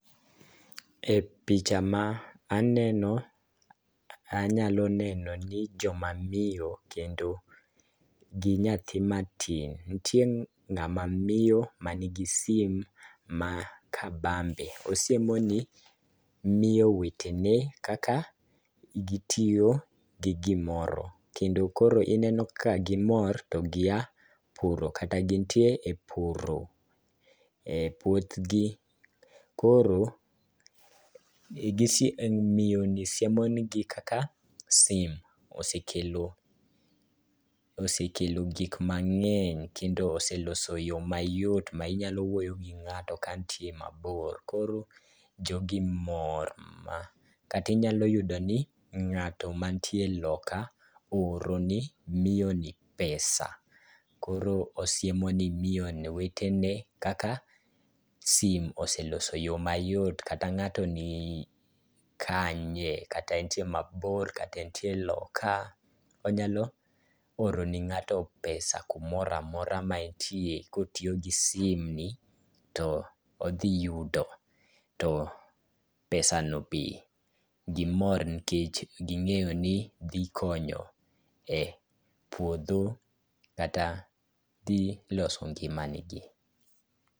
E picha ma aneno ,anyalo neno ni joma miyo kendo gi nyathi matin, nitie ng'ama miyo manigi simu ma kabambe. Osiemoni miyo wetene kaka gitiyo gi gimoro ,kendo koro ineno ka gimor to gia puro kata gintie e puro e puothgi. Koro miyoni siemo nigi kaka simu osekelo gik mang'eny, kendo oseloso yo mayot ma inyalo wuoyo gi ng'ato ka ntie mabor. Koro jogi mor. Kata inyalo yudo ni ng'ato mantie loka ooro ni miyoni pesa. Koro osiemoni ni miyo wetene kaka simu oseloso yo mayot, kata ng'ato ni kanye, kata entie mabor, kata entie loka, onyalo oro ni ng'ato pesa kumora mora ma entie kotiyo gi simni, to odhi yudo, to pesano be, gimor nikech ging'eyo ni dhi konyo e puodho kata dhi loso ngimagi.